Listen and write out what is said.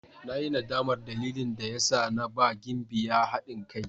Na yi nadamar dalilin da ya sa na ba Gimbiya hadin kai.